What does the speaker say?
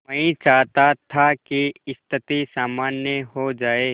मैं चाहता था कि स्थिति सामान्य हो जाए